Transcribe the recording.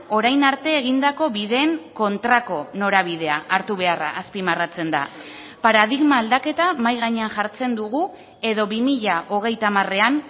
orain arte egindako bideen kontrako norabidea hartu beharra azpimarratzen da paradigma aldaketa mahai gainean jartzen dugu edo bi mila hogeita hamarean